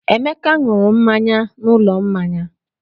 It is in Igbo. Emeka ṅụrụ mmanya n'ụlọ mmanya.